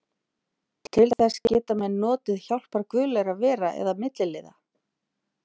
Til þess geta menn notið hjálpar guðlegra vera eða milliliða.